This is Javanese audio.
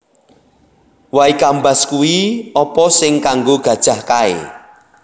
Way Kambas kui opo sing kanggo gajah kae